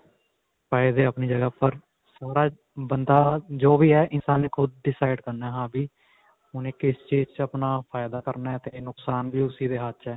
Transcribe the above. ਫ਼ਾਈਦੇ ਆਪਣੀ ਜਗ੍ਹਾ ਪਰ ਬੰਦਾ ਜੋ ਵੀ ਹੈ ਇਨਸਾਨ ਨੇ ਖੁੱਦ decide ਕਰਨਾ ਹਾਂ ਵੀ ਉਨੇ ਕਿਸ ਚੀਜ਼ ਵਿੱਚ ਆਪਣਾ ਫ਼ਾਈਦਾ ਕਰਨਾ ਤੇ ਨੁਕਸਾਨ ਵੀ ਉਸਦੇ ਹੱਥ 'ਚ ਹੈ.